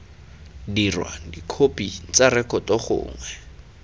dirwa dikhopi tsa rekoto gongwe